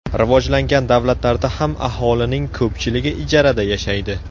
Rivojlangan davlatlarda ham aholining ko‘pchiligi ijarada yashaydi.